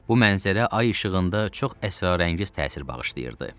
Bu mənzərə ay işığında çox əsrarəngiz təsir bağışlayırdı.